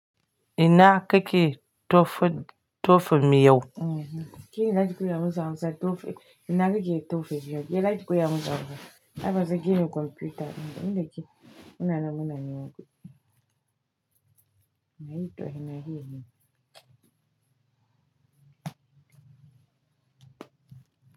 Ina kake tofe, tofe mi yau? Kene za ki koya masa hausa, tofe. Ina kake tofe jiya? Ki za ki koya masa hausa. Har ba zaki gano kwamfuta ba. In da ke, ina namu na neman kuɗi na yi tohe na yi hini.